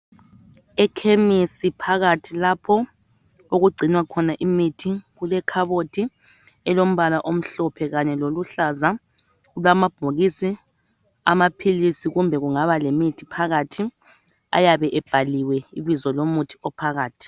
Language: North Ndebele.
Ekhemisi phakathi lapho okugcinwa imithi kulekhabothi elombala omhlophe kanye loluhlaza. Kulamabhokisi amaphilisi kumbe kungaba lemithi phakathi ayabe ebhaliwe ibizo lomuthi ophakathi.